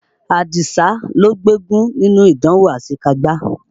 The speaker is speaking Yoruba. Àdìsá ló gbégún nínú ìdánwò àṣekágbá.